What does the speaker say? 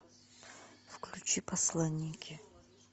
включи посланники